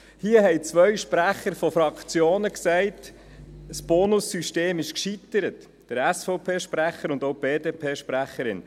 Es sagten hier zwei Fraktionssprechende, der SVP-Sprecher und die BDP-Sprecherin, dass das Bonus-System gescheitert sei.